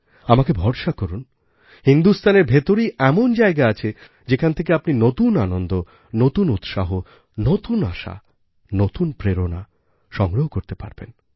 আমাকে ভরসা করুন হিন্দুস্থানের ভেতরেই এমন জায়গা আছে যেখান থেকে আপনি নতুন আনন্দ নতুন উৎসাহ নতুন আশা নতুন প্রেরণা সংগ্রহ করতে পারবেন